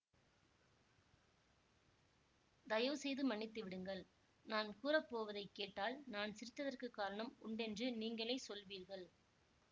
தயவு செய்து மன்னித்து விடுங்கள் நான் கூறப்போவதைக் கேட்டால் நான் சிரித்ததற்குக் காரணம் உண்டென்று நீங்களே சொல்வீர்கள்